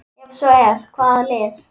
Ef svo er, hvaða lið?